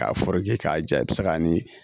K'a k'a ja i bɛ se k'a ni